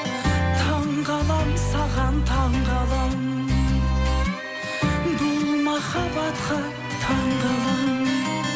таңғаламын саған таңғаламын бұл махаббатқа таңғаламын